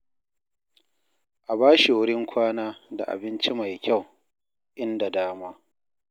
A ba shi wurin kwana da abinci mai kyau in da dama.